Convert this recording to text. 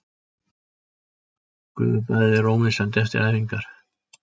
Gufubaðið er ómissandi eftir æfingar